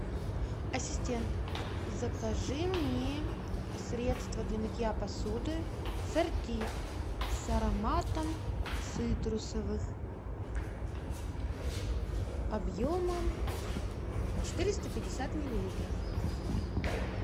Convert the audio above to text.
ассистент закажи мне средство для мытья посуды сорти с ароматом цитрусовых объемом четыреста пятьдесят миллилитров